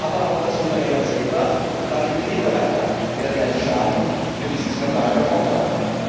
Aber auch das Unternehmen selber, und damit die Mitarbeiter, werden einen Schaden von diesem Skandal davontragen.